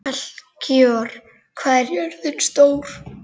Melkíor, hvað er jörðin stór?